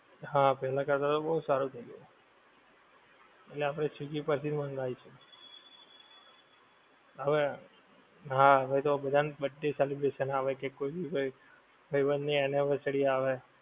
હા પહેલા કરતાં તો બઉ સારું થઈ ગયું. એટલે આપડે સ્વીગી પર થીજ મંગવિશું. હવે, હા હવે તો બધા ની birthday celebration આવે કે કોઈ ભી કોઈ ભાઈબંધ ની anniversary આવે,